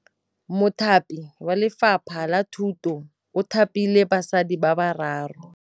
Mothapi wa Lefapha la Thutô o thapile basadi ba ba raro.